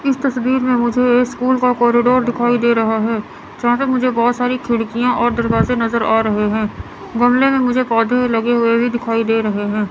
इस तस्वीर में मुझे स्कूल का कॉरिडोर दिखाई दे रहा है जहां तक मुझे बहोत सारी खिड़कियां और दरवाजे नजर आ रहे हैं गमले में मुझे पौधे लगे हुए भी दिखाई दे रहे हैं।